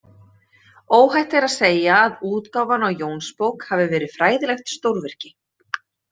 Óhætt er að segja að útgáfan á „Jónsbók“ hafi verið fræðilegt stórvirki.